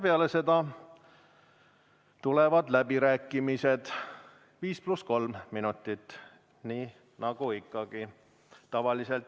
Peale seda tulevad läbirääkimised 5 + 3 minuti, nii nagu ikka.